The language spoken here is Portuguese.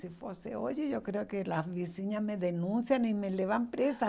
Se fosse hoje, eu creio que as vizinhas me denunciam e me levam presa.